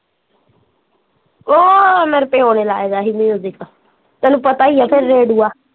ਓਹ ਮੇਰੇ ਪਿਓ ਨੇ ਲਾਇਆ ਦਾ ਸੀ ਮਯੂਜਿਕ ਤੈਨੂੰ ਪਤਾ ਈ ਆ ਫਿਰ ਰੇਡਊਆ